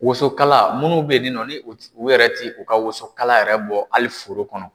Wosonkala munnu bɛ nin nɔ, ni u ti u yɛrɛ ti u ka wosonkala yɛrɛ bɔ, hali foro kɔnɔ